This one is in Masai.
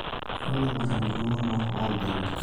eton engor embulunoto oombenek